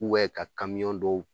ka dɔw